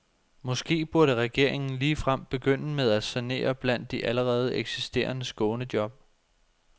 Måske burde regeringen ligefrem begynde med at sanere blandt de allerede eksisterende skånejob.